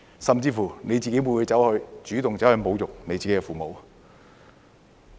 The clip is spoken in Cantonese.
甚至你會否主動侮辱自己的父母？